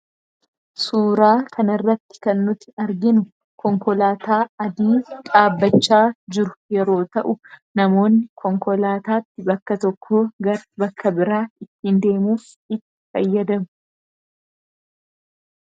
Suuraa kana irratti kan nuti arginu konkolaataa adii dhaabbachaa jiru yeroo ta'u namoonni konkolaataatti bakka tokko gara bakka biraa ittiin deemuuf itti fayyadamu.